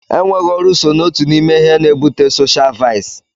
Enweghị ọrụ so n'otu n'ime ihe n'ebute soshial vaịsị.